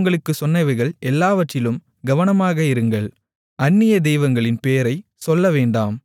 நான் உங்களுக்குச் சொன்னவைகள் எல்லாவற்றிலும் கவனமாக இருங்கள் அந்நிய தெய்வங்களின் பேரைச் சொல்லவேண்டாம்